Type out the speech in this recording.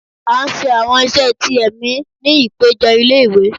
a n sé àwọn iṣẹ tí emí ní ipejo ilé ìwé